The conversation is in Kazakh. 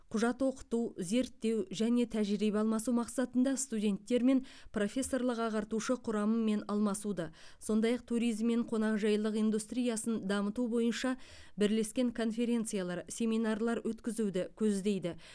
құжат оқыту зерттеу және тәжірибе алмасу мақсатында студенттермен профессорлық ағартушы құрамымен алмасуды сондай ақ туризм мен қонақжайлылық индустриясын дамыту бойынша бірлескен конференциялар семинарлар өткізуді көздейді